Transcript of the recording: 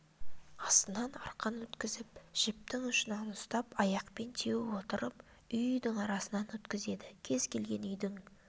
астынан арқан өткізіп жіптің ұшынан ұстап аяқпен теуіп отырып үй-үйдің арасынан өткізеді кез келген үйдің